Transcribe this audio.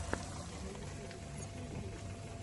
на ютубе скачай фильмы